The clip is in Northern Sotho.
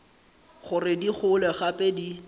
gore di gole gape di